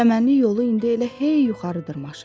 Çəmənli yol indi elə hey yuxarı dırmaşırdı.